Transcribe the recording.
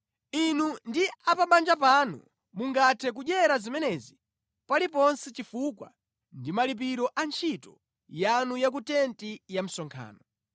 Inu ndi a pa banja panu mungathe kudyera zimenezi paliponse chifukwa ndi malipiro a ntchito yanu ya ku tenti ya msonkhano.